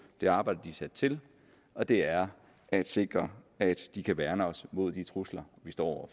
det arbejde de er sat til og det er at sikre at de kan værne os mod de trusler vi står